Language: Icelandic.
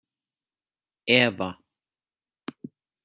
Eva